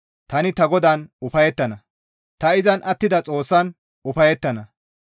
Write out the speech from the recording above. Tani ta GODAAN ufayettana; ta izan attida Xoossan ufayettana.